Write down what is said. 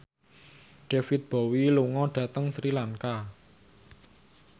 David Bowie lunga dhateng Sri Lanka